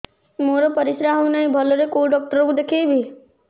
ମୋର ପରିଶ୍ରା ହଉନାହିଁ ଭଲରେ କୋଉ ଡକ୍ଟର କୁ ଦେଖେଇବି